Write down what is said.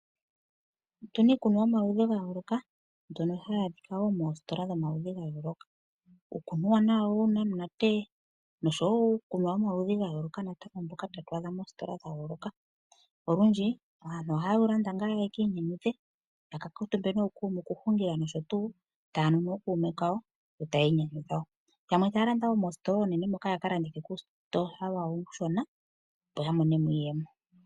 Otuna iikunwa yomaludhi ga yooloka mbyono hayi adhika woo moositola dhomaludhi ga yooloka, otunamo uunamunate noshowo uukunwa womaludhi ga yooloka natango mbyoka tatu adha moositola dha yooloka. Olundji aantu oha yewu landa ngaa yeki inyanyudhe ya ka kuutumbe ,tayanu nookume kawo yo taya yamwe taya landa woo moositola oonene moka yaka landithe koositola uushona opo yamonemo